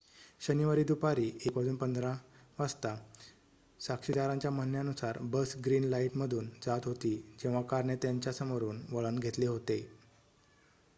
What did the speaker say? शनिवारी दुपारी 1:15 वाजता साक्षीदारांच्या म्हणण्यानुसार बस ग्रीन लाईटमधून जात होती जेव्हा कारने त्याच्या समोरून वळण घेतले होते